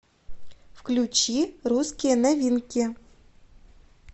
включи русские новинки